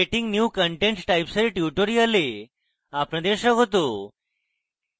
creating new content types এর tutorial আপনাদের স্বাগত